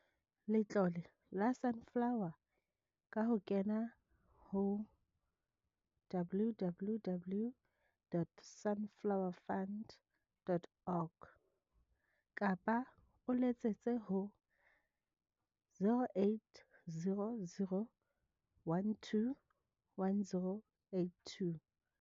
Letlole la Sunflower ka ho kena ho www.sunflowefund.org kapa o letsetse ho 0800 12 10 82.